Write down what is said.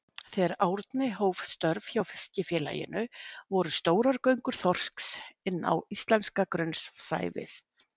Þegar Árni hóf störf hjá Fiskifélaginu voru stórar göngur þorsks inn á íslenska grunnsævið.